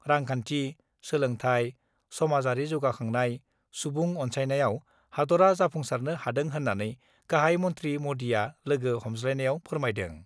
रांखान्थि, सोलोंथाय, समाजयारि जौगाखांनाय, सुबुं अन्सायनायाव हादरआ जाफुंसारनो हादों होन्नानै गाहाइ मन्थ्रि मदिआ लोगो हमज्लायनायाव फोरमायदों।